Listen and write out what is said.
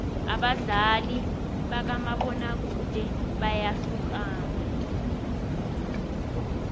abadlali bakamabona kude bayahlukana